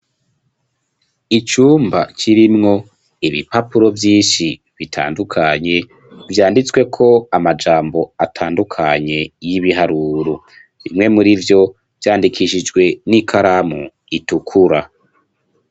Icumba kirimwo ibipapuro vyinshi bitandukanye vyanditsweko amajambo atandukanye y'ibiharuru bimwe murivyo vyandikishijwe n'ikaramu itukura.